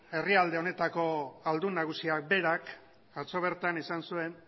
herrialde honetako aldun nagusiak berak atzo bertan esan zuen